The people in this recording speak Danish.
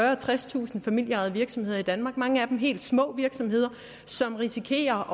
og tredstusind familieejede virksomheder i danmark mange af dem helt små virksomheder som risikerer